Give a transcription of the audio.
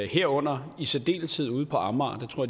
herunder i særdeleshed ude på amager det tror